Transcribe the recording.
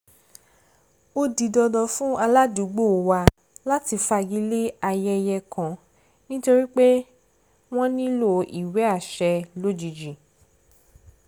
ó di dandan fún aládùúgbò wa láti fagilé ayẹyẹ kan nítorí pé wọ́n nílò ìwé àṣẹ lójijì